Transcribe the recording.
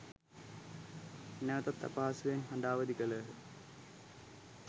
නැවතත් අපහසුවෙන් හඬ අවධි කළහ.